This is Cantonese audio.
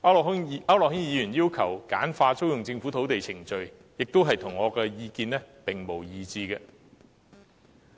區諾軒議員要求簡化租用政府土地的程序，亦與我的意見一致。